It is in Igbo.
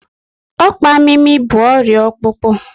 Ọkpa mimi bụ ọrịa ọkpụkpụ